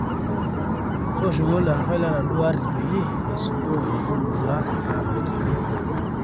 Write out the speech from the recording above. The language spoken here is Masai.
tooshoki olderefai lenaduo aari peyie eisudoo oladuo lola laatorikine